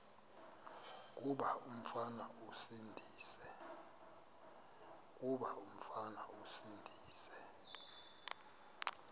kuba umfana esindise